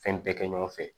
Fɛn bɛɛ kɛ ɲɔgɔn fɛ